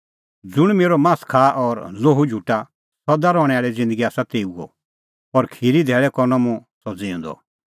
ज़ुंण मेरअ मास खाआ और लोहू झुटा सदा रहणैं आल़ी ज़िन्दगी आसा तेऊओ और खिरीए धैल़ै करनअ मुंह सह ज़िऊंदअ